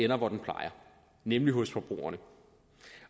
der hvor den plejer nemlig hos forbrugerne